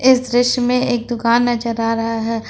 इस दृश्य में एक दुकान नजर आ रहा है।